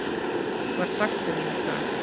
var sagt við mig í dag.